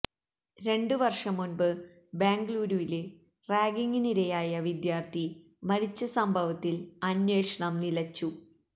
രണ്ട് വര്ഷം മുന്പ് ബാംഗളൂരുവില് റാഗിങ്ങിനിരയായി വിദ്യാര്ഥി മരിച്ച സംഭവത്തില് അന്വേഷണം നിലച്ചു